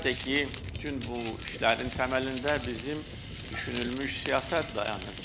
Və əlbəttə ki, bütün bu işlərin təməlində bizim düşünülmüş siyasət dayanır.